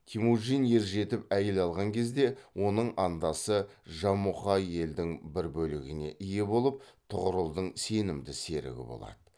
темужин ержетіп әйел алған кезде оның андасы жамұқа елдің бір бөлігіне ие болып тұғырылдың сенімді серігі болады